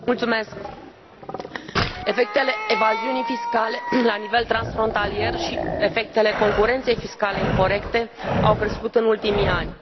Domnule președinte, efectele evaziunii fiscale la nivel transfrontalier și efectele concurenței fiscale incorecte au crescut în ultimii ani.